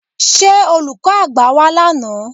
Ṣé Olùkọ́ àgbà wá lánàá?